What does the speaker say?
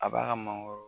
A b'a ka mangoro